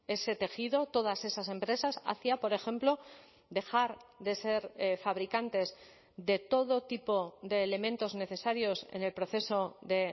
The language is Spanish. ese tejido todas esas empresas hacia por ejemplo dejar de ser fabricantes de todo tipo de elementos necesarios en el proceso de